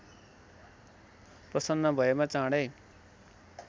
प्रसन्न भएमा चाँडै